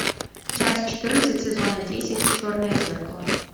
часть четырнадцать сезона десять черное зеркало